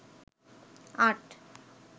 আট